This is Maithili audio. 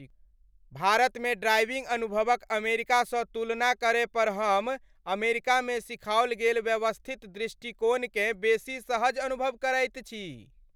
भारतमे ड्राइविंग अनुभवक अमेरिकासँ तुलना करय पर हम अमेरिकामे सिखाओल गेल व्यवस्थित दृष्टिकोणकेँ बेसी सहज अनुभव करैत छी।